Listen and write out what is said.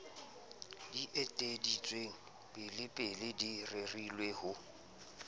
eteleditsweng pelepele di rerile ho